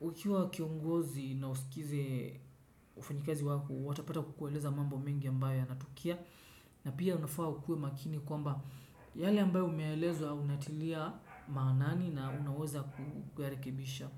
Ukiwa kiongozi na usikize wafanyi kazi wako, watapata kukueleza mambo mingi ambayo yanatukia. Na pia unafaa ukue makini kwamba yale ambayo umeelezwa unatilia maanani na unaweza kuyarekebisha.